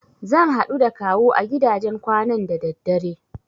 Zan haɗu da Kawu a gidajen kwanan da daddare.